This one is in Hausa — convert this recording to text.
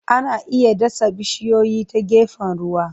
Ana iya dasa bishiyoyi ta gefen ruwa.